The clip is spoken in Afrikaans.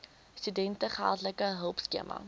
studente geldelike hulpskema